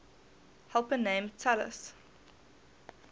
helper named talus